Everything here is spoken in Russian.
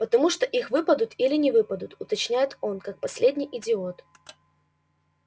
потому что или выпадут или не выпадут уточняет он как последний идиот